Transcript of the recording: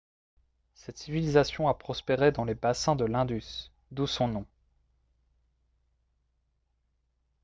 cette civilisation a prospéré dans les bassins de l'indus d'où son nom